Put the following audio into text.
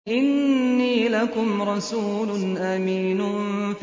إِنِّي لَكُمْ رَسُولٌ أَمِينٌ